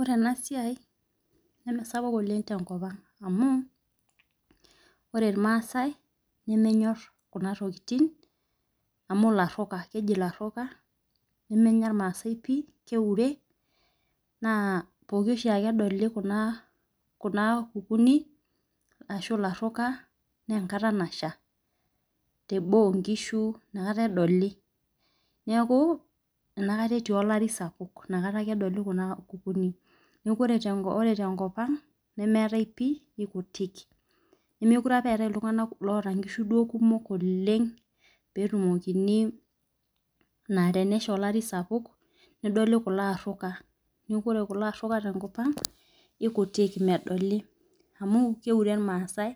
Ore enasiai nemesapuk oleng tenkopang' amu laruka keji laruka nemenya irmaasai pii keure pooki ake edolu kuna kukunik na enkata nasha teboo nkishu nakata edoli neaku enakata etii olari sapuk nakata ake edoli kuna kukunik neaku ore tenkopang nemeetai pii kekuti nemekute apa ewtae ltunganak oota nkishu kumok oleng petumokini na tenesha olaribsapuk nedoli kulo laruka neakuore kulo aruka tenkop aang kekutik amu keure irmaasai